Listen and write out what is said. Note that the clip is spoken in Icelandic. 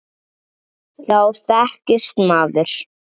Þá þekkist maður.